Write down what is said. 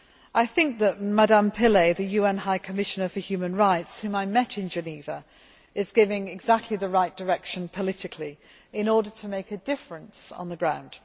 I think that Ms Pillay, the UN High Commissioner for Human Rights, whom I met in Geneva, is giving exactly the right direction politically in order to make a difference on the ground.